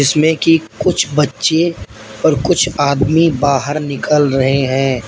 इसमें कि कुछ बच्चे और कुछ आदमी बाहर निकल रहे हैं।